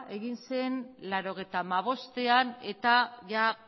egin zen mila bederatziehun eta laurogeita hamabostean eta